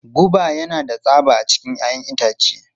Goba yana da tsaba a cikin 'ya'yan itace.